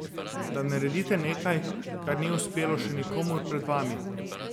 Da naredite nekaj, kar ni uspelo še nikomur pred vami?